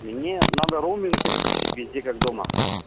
мне надо роуминг переключить везде как дома